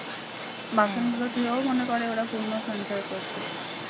বাসন গুলো ধুয়েও মনে করে ওরা পূণ্য সঞ্চয় করছে।